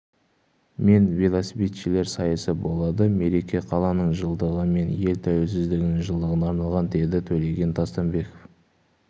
мен велосипедшілер сайысы болады мереке қаланың жылдығы мен ел тәуелсіздігінің жылдығына арналған деді төлеген тастанбеков